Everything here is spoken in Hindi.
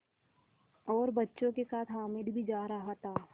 और बच्चों के साथ हामिद भी जा रहा था